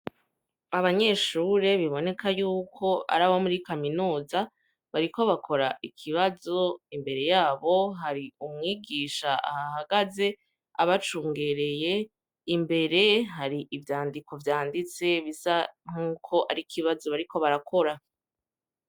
Abanyeshure biboneka yuko ari abo muri Kaminuza, bariko bakora ikibazo, imbere y'aho hari umwigisha ahahagaze, abacungereye, imbere hari ivyandiko vyanditse bisa nkuko ari ikibazo bariko barakora.